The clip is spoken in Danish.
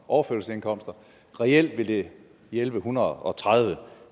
overførselsindkomster reelt vil det hjælpe en hundrede og tredive